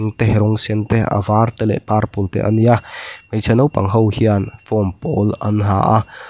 rawng sen te a var te leh purple te a ni a hmeichhe naupang ho hian form pawl an ha a--